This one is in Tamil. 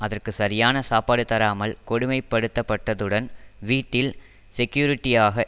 அங்கு சரியான சாப்பாடு தராமல் கொடுமைப்படுத்தப்பட்டதுடன் வீட்டில் செகியூரிட்டியாக